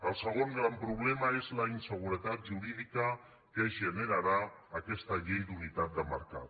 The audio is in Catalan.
el segon gran problema és la inseguretat jurídica que generarà aquesta llei d’unitat de mercat